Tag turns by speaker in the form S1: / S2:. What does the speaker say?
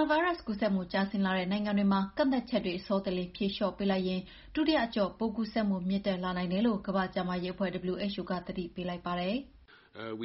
S1: ာဗိုင်းရပ်စ်ကူးစက်မှု ကျဆင်းလာတဲ့ နိုင်ငံတွေမှာ ကန့်သတ်ချက်တွေ အစောတလျင်ဖြေလေ ျှာ့ပေးလိုက်ရင် ဒုတိယအကျော့ ပိုးကူးစက်မှုမြင့်တက်လာနိုင်တယ်လို့ ကမ္ဘာ့ကျန်းမာရေးအဖွဲ့ WHO က သတိပေးလိုက်ပါတယ်။
S2: "ပိ